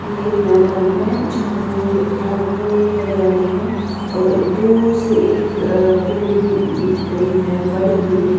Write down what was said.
यह एक मैदान है जहां पूरी पु पूरी हरियाली है और दूर से एक अ बिल्डिंग दिख रही है बड़ी बिल्डिंग --